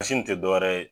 nin te dɔwɛrɛ ye